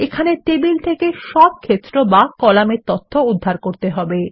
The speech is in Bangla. এখানে টেবিল থেকে সব ক্ষেত্র বা কলাম পেতে হবে